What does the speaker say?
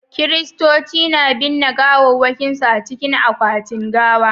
Kiristoci na binne gawawwakinsu a cikin akwatin gawa.